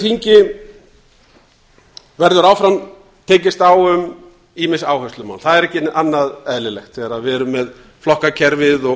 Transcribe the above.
þingi verður áfram tekist á um ýmis áherslumál það er ekki annað eðlilegt þegar við erum með flokkakerfið og